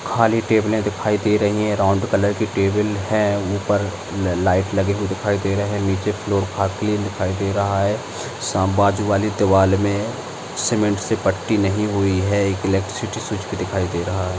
खाली टेबले दिखाई दे रही है राउंड कलर की टेबल है उपर ल लाइट लगे हुए दिखाई दे रहे नीचे फ्लोर क्लीन दिखाई दे रहा है साम बाजू वाली दीवार मे सीमेंट से पट्टी नही हुई है एक ईलेक्ट्रिसिटी स्विच भी दिखाई दे रहा है।